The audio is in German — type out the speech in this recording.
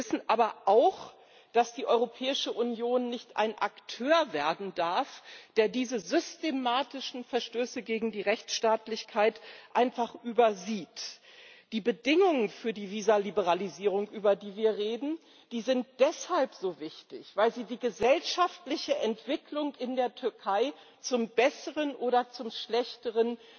Wir wissen aber auch, dass die Europäische Union nicht ein Akteur werden darf, der diese systematischen Verstöße gegen die Rechtsstaatlichkeit einfach übersieht. Die Bedingungen für die Visaliberalisierung, über die wir reden, sind deshalb so wichtig, weil sie die gesellschaftliche Entwicklung in der Türkei zum Besseren oder zum Schlechteren